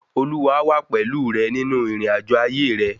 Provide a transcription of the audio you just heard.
Olúwa a wa pẹ̀lú rẹ nínú ìrìnàjò ayé re